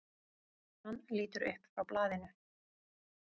Hann lítur upp frá blaðinu.